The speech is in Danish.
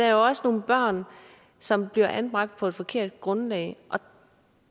jo også nogle børn som bliver anbragt på et forkert grundlag